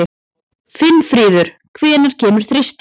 Finnfríður, hvenær kemur þristurinn?